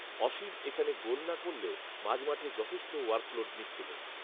অসীম এখানে গোল না করলেও মাঝমাঠে যথেষ্ট ওয়ার্ক লোড নিচ্ছিলেন